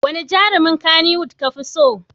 Wane jarumin Kannywood kafi so?